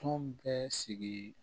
Tɔn bɛɛ sigi